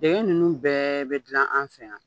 dɛgɛ ninnu bɛɛ bɛ dilan an fɛ yan.